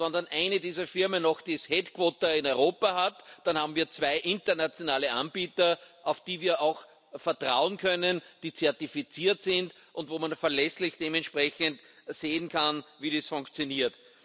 Und wenn dann eine dieser Firmen noch das Headquarter in Europa hat, dann haben wir zwei internationale Anbieter, auf die wir auch vertrauen können, die zertifiziert sind und wo man verlässlich sehen kann, wie das funktioniert.